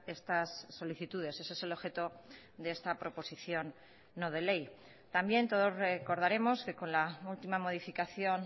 estas solicitudes ese es el objeto de esta proposición no de ley también todos recordaremos que con la última modificación